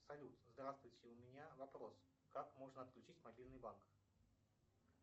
салют здравствуйте у меня вопрос как можно отключить мобильный банк